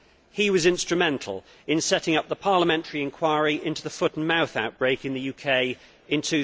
He was instrumental in setting up the parliamentary inquiry into the foot and mouth outbreak in the UK in